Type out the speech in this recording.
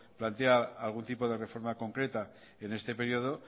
plantea algún tipo de reforma completa en este período